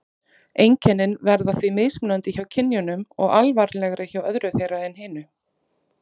Einkennin verða því mismunandi hjá kynjunum og alvarlegri hjá öðru þeirra en hinu.